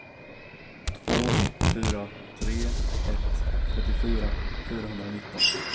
två fyra tre ett trettiofyra fyrahundranitton